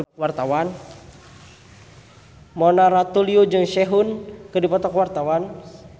Mona Ratuliu jeung Sehun keur dipoto ku wartawan